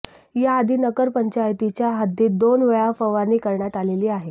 याआधी नगरपंचायतीच्या हद्दीत दोन वेळा फवारणी करण्यात आलेली आहे